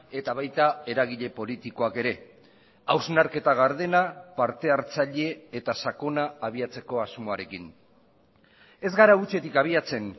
eta baita eragile politikoak ere hausnarketa gardena partehartzaile eta sakona abiatzeko asmoarekin ez gara hutsetik abiatzen